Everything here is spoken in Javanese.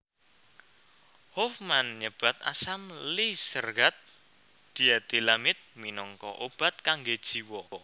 Hofmann nyebat asam lisergat dietilamid minangka obat kanggé jiwa